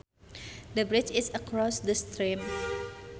The bridge is across the stream